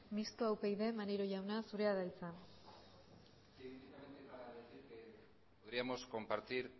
mistoa upyd maneiro jauna zurea da hitza queríamos compartir